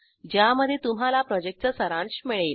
ज्यामध्ये तुम्हाला प्रॉजेक्टचा सारांश मिळेल